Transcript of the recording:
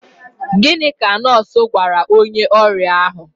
Gịnị ka nọọsụ gwara onye ọrịa ahụ?